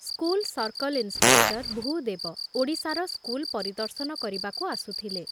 School circle inspector Bhudev ଓଡ଼ିଶାର school ପରିଦର୍ଶନ କରିବାକୁ ଆସୁଥିଲେ।